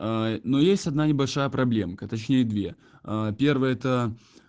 но есть одна небольшая проблемка точнее две первая это